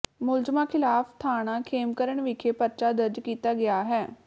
ਮੁਲਜ਼ਮਾਂ ਖਿਲਾਫ ਥਾਣਾ ਖੇਮਕਰਨ ਵਿਖੇ ਪਰਚਾ ਦਰਜ ਕੀਤਾ ਗਿਆ ਹੈ